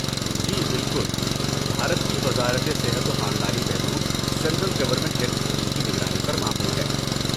جی، بالکل۔ بھارت کی وزارت صحت و خاندانی بہبود سینٹرل گورنمنٹ ہیلتھ اسکیم کی نگرانی پر مامور ہے۔